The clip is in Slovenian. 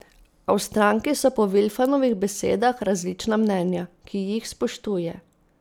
A v stranki so po Vilfanovih besedah različna mnenja, ki jih spoštuje.